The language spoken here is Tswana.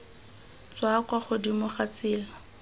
tswa kwa godimo ga tsela